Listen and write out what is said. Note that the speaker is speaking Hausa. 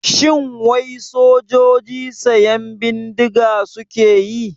Shin wai sojoji siyan bindiga suke yi?